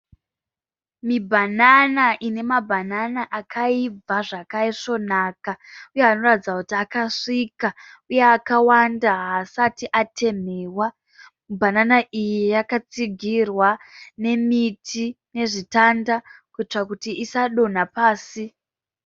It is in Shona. Mibanana ine mabanana akaibva zvakaisvonaka uye anoratidza kuti akasvika uye akawanda havasati atemhewa mibanana iyi yakatsigirwa nemiti nezvitanda kuitira kuti isadonha pasi.